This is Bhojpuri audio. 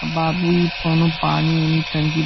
बाबू इ कौनो पानी-उनी टंकी --